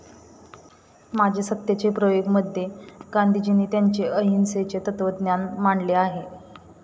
माझे सत्याचे प्रयोग मध्ये गांधीजींनी त्यांचे अहिंसेचे तत्वज्ञान मांडले आहे.